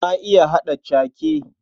Na iya haɗa cake.